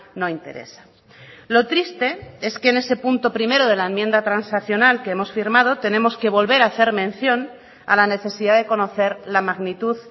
no interesa lo triste es que en ese punto primero de la enmienda transaccional que hemos firmado tenemos que volver a hacer mención a la necesidad de conocer la magnitud